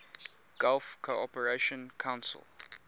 gulf cooperation council